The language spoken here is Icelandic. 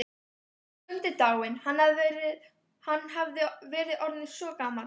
Skundi dáinn, hann hafði verið orðinn svo gamall.